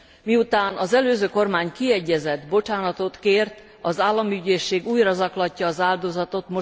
Miután az előző kormány kiegyezett, bocsánatot kért, az államügyészség újra zaklatja az áldozatot.